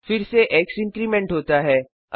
फिर से X increment होता है